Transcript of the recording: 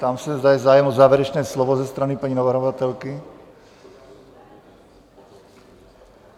Ptám se, zda je zájem o závěrečné slovo ze strany paní navrhovatelky?